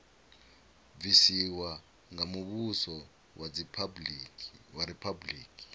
bvisiwa nga muvhuso wa riphabuliki